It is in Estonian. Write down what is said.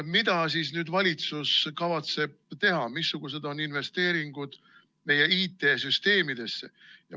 Mida siis valitsus nüüd kavatseb teha, missugused on investeeringud meie IT‑süsteemidesse?